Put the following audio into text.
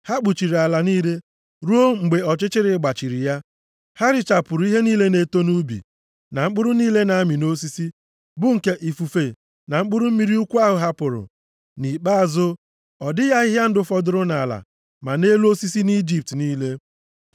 Ha kpuchiri ala niile ruo mgbe ọchịchịrị gbachiri ya. Ha richapụrụ ihe niile na-eto nʼubi, na mkpụrụ niile na-amị nʼosisi, bụ nke ifufe na mkpụrụ mmiri ukwu ahụ hapụrụ. Nʼikpeazụ, ọ dịghị ahịhịa ndụ fọdụrụ nʼala ma nʼelu osisi nʼIjipt niile.